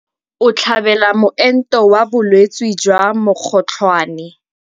O tlhabela moento wa bolwetse jwa mokgotlhwane.